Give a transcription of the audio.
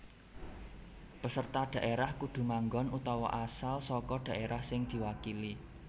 Peserta dhaérah kudu manggon utawa asal saka dhaérah sing diwakili